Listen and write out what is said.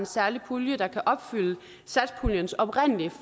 særlig pulje der kan opfylde satspuljens oprindelige